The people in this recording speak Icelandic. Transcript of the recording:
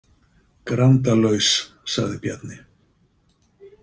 Grandalaus, sagði Bjarni.